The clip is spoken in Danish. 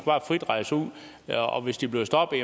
bare frit rejse ud og hvis de bliver stoppet